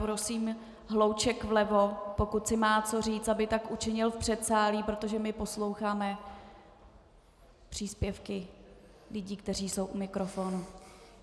Prosím hlouček vlevo, pokud si má co říct, aby tak učinil v předsálí, protože my posloucháme příspěvky lidí, kteří jsou u mikrofonu.